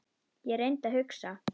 Ég reyndi að hugsa.